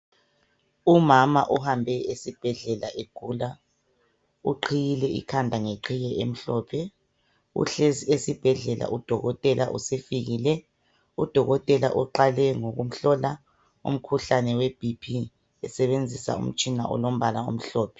Umama uhambe esibhedlela egula, uqhiyile ikhanda ngeqhiye emhlophe, uhlezi esibhedlela udokotela usefikile , udokotela uqale ngokumhlola umkhuhlane we Bp esebenzisa umtshina olombala omhlophe.